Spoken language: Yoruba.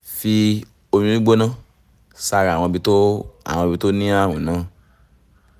fi omi gbígbóná sára àwọn ibi tó àwọn ibi tó ní ààrùn náà